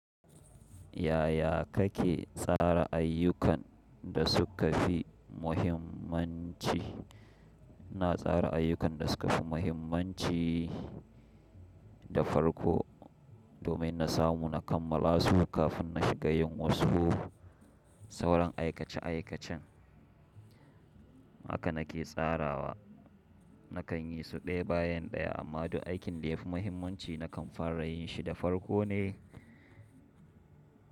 Yaya kake tsara ayyukan da suka fi muhimmanci? Ina tsara ayyukan da suka fi muhimmanci da farko domin na samu na kammala su kafin na shiga yin wasu sauran aikace aikacen. Haka na ke tsarawa. Nakan yi su ɗaya bayan ɗaya amma duk aikin da ya fi muhimmanci na kan fara yin shi da farko ne.